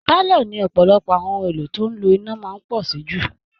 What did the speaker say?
Pálọ̀ ni ọ̀pọ̀lọpọ̀ àwọn ohun èlò tó ń lo iná máa ń pọ̀ sí jù